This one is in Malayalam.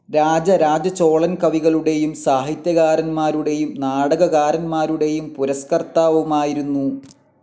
രാജരാജചോളൻ കവികളുടെയും സാഹിത്യകാരന്മാരുടെയും നാടകകാരന്മാരുടെയും പുരസ്കർത്താവുമായിരുന്നു.